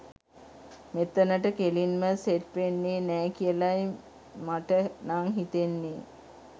මෙතනට කෙලින්ම සෙට් වෙන්නේ නෑ කියලයි මට නං හිතෙන්නේ.